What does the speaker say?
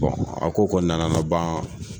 a ko koni nana na ban